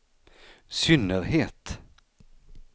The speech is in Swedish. synnerhet